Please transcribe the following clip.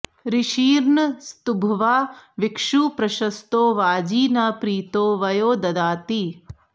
ऋषिर्न स्तुभ्वा विक्षु प्रशस्तो वाजी न प्रीतो वयो दधाति